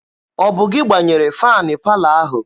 Ọ bụ gị gbanyere faanị palọ ahụ?